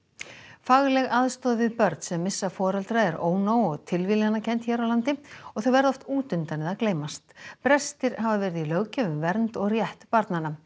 fagleg aðstoð við börn sem missa foreldra er ónóg og tilviljunarkennd hér á landi og þau verða oft út undan eða gleymast brestir hafa verið í löggjöf um vernd og rétt barnanna